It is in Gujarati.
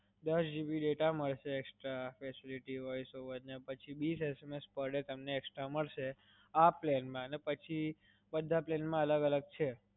દસ GB data મલસે extra facility voice over ને પછી વીસ SMS તમને extra મલસે આ plan માં અને પછી બધા plan માં અલગ અલગ છે.